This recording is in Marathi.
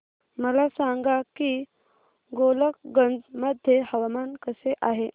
मला सांगा की गोलकगंज मध्ये हवामान कसे आहे